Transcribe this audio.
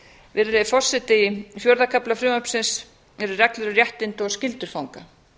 virðulegi forseti í fjórða kafla frumvarpsins eru reglur um réttindi og skyldur fanga